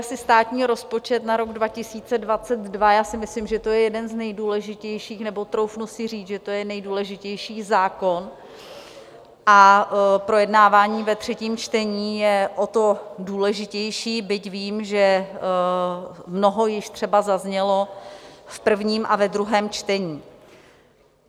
Asi státní rozpočet na rok 2022, já si myslím, že to je jeden z nejdůležitějších, nebo troufnu si říct, že to je nejdůležitější zákon, a projednávání ve třetím čtení je o to důležitější, byť vím, že mnoho již třeba zaznělo v prvním a ve druhém čtení.